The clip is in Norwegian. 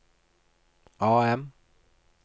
AM